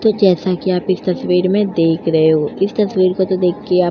जैसा कि आप इस तस्वीर में देख रहे हो इस तस्वीर को देखके आप --